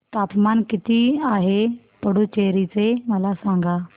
तापमान किती आहे पुडुचेरी चे मला सांगा